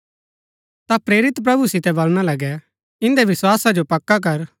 ता प्रेरित प्रभु यीशु सितै वलणा लगै इन्दै विस्‍वासा जो पक्का कर